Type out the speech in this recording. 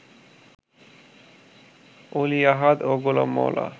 অলি আহাদ ও গোলাম মওলা